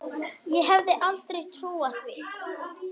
Ég hefði aldrei trúað því.